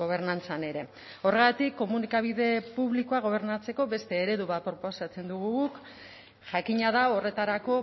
gobernantzan ere horregatik komunikabide publikoa gobernatzeko beste eredu bat proposatzen dugu guk jakina da horretarako